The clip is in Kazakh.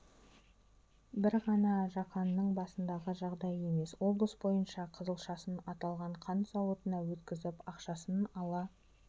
бір ғана жақанның басындағы жағдай емес облыс бойынша қызылшасын аталған қант зауытына өткізіп ақшасын ала